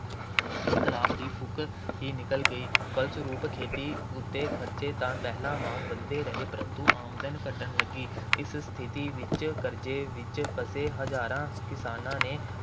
ਇਨਕਲਾਬ ਦੀ ਫੂਕ ਹੀ ਨਿਕਲ ਗਈ। ਫਲਸਰੂਪ ਖੇਤੀ ਉੱਤੇ ਖਰਚੇ ਤਾਂ ਪਹਿਲਾਂ ਵਾਂਗ ਵੱਧਦੇ ਰਹੇ, ਪਰੰਤੂ ਆਮਦਨ ਘੱਟਣ ਲੱਗੀ। ਇਸ ਸਥਿਤੀ ਵਿੱਚ ਕਰਜ਼ੇ ਵਿੱਚ ਫਸੇ ਹਜ਼ਾਰਾਂ ਕਿਸਾਨਾਂ ਨੇ